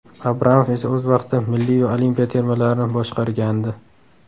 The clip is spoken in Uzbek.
Abramov esa o‘z vaqtida milliy va olimpiya termalarini boshqargandi.